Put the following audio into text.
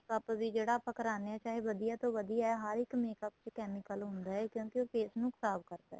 makeup ਵੀ ਆਪਾਂ ਜਿਹੜਾ ਕਰਾਣੇ ਆਂ ਚਾਹੇ ਵਧੀਆ ਤੋਂ ਵਧੀਆ ਏ ਹਰ ਇੱਕ makeup ਚ chemical ਹੁੰਦਾ ਏ ਕਿਉਂਕਿ ਉਹ face ਨੂੰ ਖ਼ਰਾਬ ਕਰਦਾ ਏ